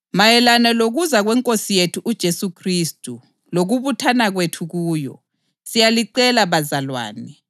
Mayelana lokuza kweNkosi yethu uJesu Khristu lokubuthana kwethu kuyo, siyalicela bazalwane